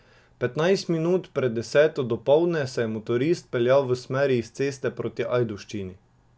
Petnajst minut pred deseto dopoldne se je motorist peljal v smeri iz Ceste proti Ajdovščini.